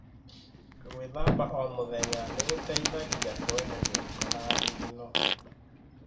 Gwíthamba o mũthenya nĩ gũteithagia kweheria gĩko na thigino.